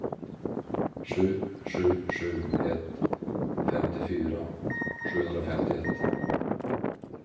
sju sju sju ett femtiofyra sjuhundrafemtioett